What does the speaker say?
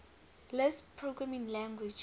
lisp programming language